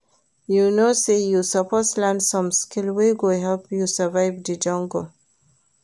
You know sey you suppose learn some skill wey go help you survive di jungle